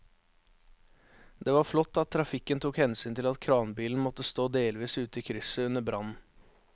Det var flott at trafikken tok hensyn til at kranbilen måtte stå delvis ute i krysset under brannen.